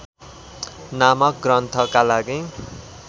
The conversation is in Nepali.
नामक ग्रन्थका लागि